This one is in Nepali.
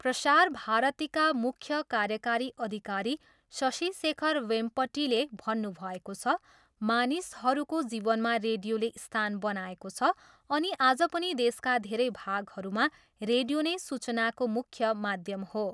प्रसार भारतीका मुख्य कार्यकारी अधिकारी शशि शेखर वेम्पटीले भन्नुभएको छ, मानिसहरूको जीवनमा रेडियोले स्थान बनाएको छ अनि आज पनि देशका धेरै भागहरूमा रेडियो नै सूचनाको मुख्य माध्यम हो।